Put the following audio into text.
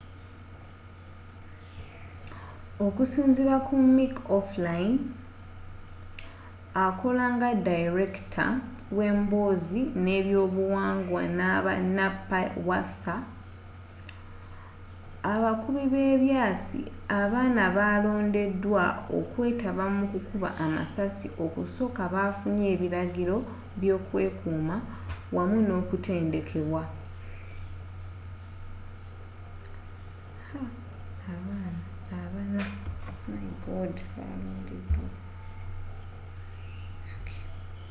okusinziira ku mick o'flynn akola nga dayirekita wemboozi nebyobuwangwa naba npws abakubi byebyasi abana abalondedwa okwetaba mukukuba amasasi okusooka bafunye ebiragiro byokwekuuma wamu nokutendekebwa